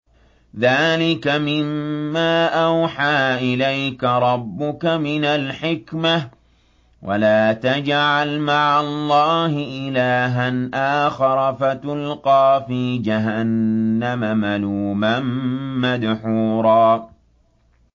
ذَٰلِكَ مِمَّا أَوْحَىٰ إِلَيْكَ رَبُّكَ مِنَ الْحِكْمَةِ ۗ وَلَا تَجْعَلْ مَعَ اللَّهِ إِلَٰهًا آخَرَ فَتُلْقَىٰ فِي جَهَنَّمَ مَلُومًا مَّدْحُورًا